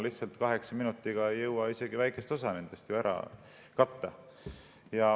Lihtsalt kaheksa minutiga ei jõua isegi väikest osa küsimustest ära katta.